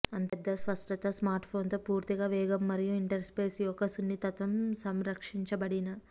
అంత పెద్ద స్పష్టత స్మార్ట్ఫోన్ తో పూర్తిగా వేగం మరియు ఇంటర్ఫేస్ యొక్క సున్నితత్వం సంరక్షించబడిన